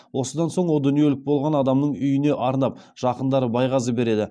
осыдан соң о дүниелік болған адамның үйіне арнап жақындары байғазы береді